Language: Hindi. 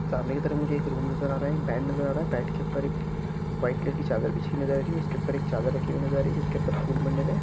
सामने की तरफ मुझे एक रूम नजर आ रहा एक बेड नजर आ रहा है बेड के ऊपर व्हाइट कलर की चादर नजर आ रही है उसके ऊपर चादर राखी नजर आ रही है जिसके ऊपर फूल मंडे हुए हैं।